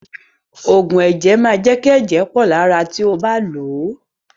Òògùn ẹ̀jẹ̀ máa jẹ́ kí ẹ̀jẹ̀ pọ lára ti ó bá lòó.